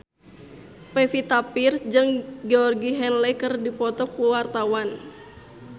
Pevita Pearce jeung Georgie Henley keur dipoto ku wartawan